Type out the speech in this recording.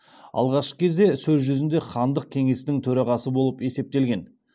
алғашқы кезде сөз жүзінде хандық кеңестің төрағасы болып есептелінген